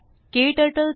क्टर्टल